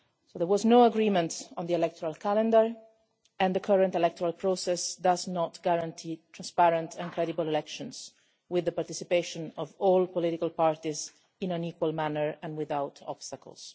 There was no agreement on the electoral calendar, and the current electoral process does not guarantee transparent and credible elections with the participation of all political parties in an equal manner and without obstacles.